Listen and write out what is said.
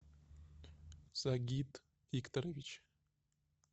сагит викторович